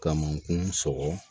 Kamankun sɔgɔ